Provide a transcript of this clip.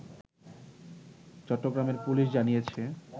চট্টগ্রামের পুলিশ জানিয়েছে